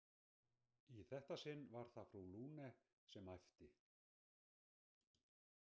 Í þetta sinn var það frú Lune sem æpti.